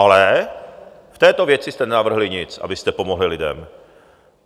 Ale... v této věci jste nenavrhli nic, abyste pomohli lidem.